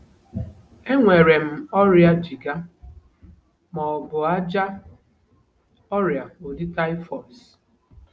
Enwere m ọrịa jigger, ma ọ bụ ájá, ọrịa, ụdị typhus.